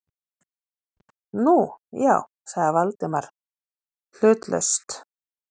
Nú, já- sagði Valdimar hlutlaust.